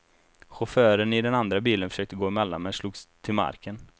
Chauffören i den andra bilen försökte gå emellan men slogs till marken.